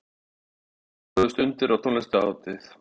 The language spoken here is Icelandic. Fimmtán tróðust undir á tónlistarhátíð